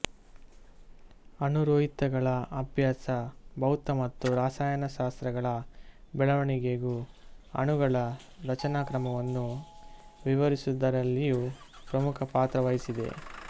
ಅಣುರೋಹಿತಗಳ ಅಭ್ಯಾಸ ಭೌತ ಮತ್ತು ರಸಾಯನಶಾಸ್ತ್ರಗಳ ಬೆಳೆವಣಿಗೆಗೂ ಅಣುಗಳ ರಚನಾಕ್ರಮವನ್ನು ವಿವರಿಸುವುದರಲ್ಲಿಯೂ ಪ್ರಮುಖ ಪಾತ್ರವಹಿಸಿದೆ